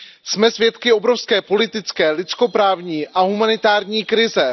Jsme svědky obrovské politické, lidskoprávní a humanitární krize.